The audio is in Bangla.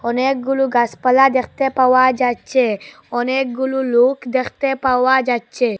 অনেকগুলু গাসপালা দেখতে পাওয়া যাচ্ছে অনেকগুলু লোক দেখতে পাওয়া যাচ্ছে।